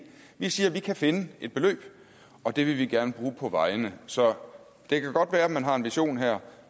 vi siger at vi kan finde et beløb og det vil vi gerne bruge på vejene så det kan godt være man har en vision her